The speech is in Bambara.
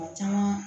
O caman